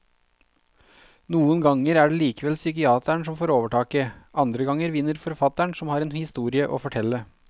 Noen ganger er det likevel psykiateren som får overtaket, andre ganger vinner forfatteren som har en historie å fortelle.